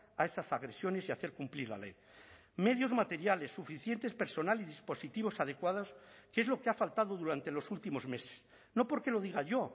a esas agresiones y hacer cumplir la ley medios materiales suficientes personal y dispositivos adecuados que es lo que ha faltado durante los últimos meses no porque lo diga yo